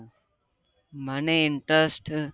મને interest